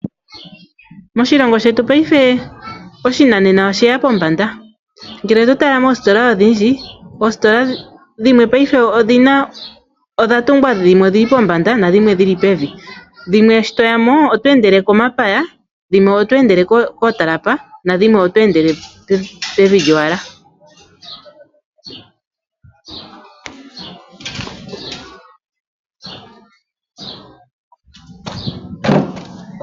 Moshilongo shetu paife oshinanena oshili pombanda ngele oto tala moositola odhindji oositila dhimwe odha tungwa dhimwe odhili pombanda nadhimwe dhili pevi dho dhimwe ngel to yimo owuna oku endela komapaya.